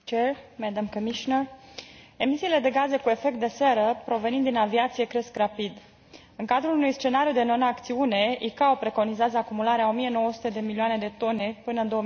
Domnule președinte, doamnă comisar, emisiile de gaze cu efect de seră provenind din aviație cresc rapid. În cadrul unui scenariu de non acțiune, ICAO preconizează acumularea a 1900 de milioane de tone până în